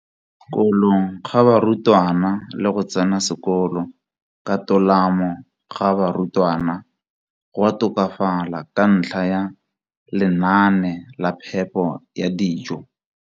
kolong ga barutwana le go tsena sekolo ka tolamo ga barutwana go a tokafala ka ntlha ya lenaane la phepo ya dijo.